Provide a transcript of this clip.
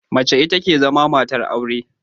Mace ita ke zama matar aure.